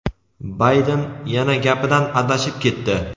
Bayden yana gapidan adashib ketdi.